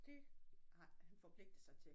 Det har han forpligtet sig til